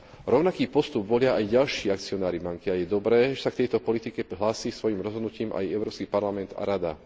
Rovnaký postup volia aj ďalší akcionári banky a je dobré, že sa k tejto politike hlási svojim rozhodnutím aj Európsky parlament a Rada.